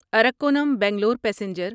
Arakkonam Bangalore passenger